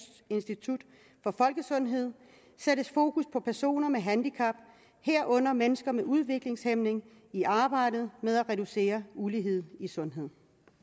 institut for folkesundhed sættes fokus på personer med handicap herunder mennesker med udviklingshæmning i arbejdet med at reducere ulighed i sundhed